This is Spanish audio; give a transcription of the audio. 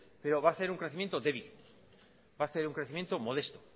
pero va a ser un crecimiento débil va a ser un crecimiento modesto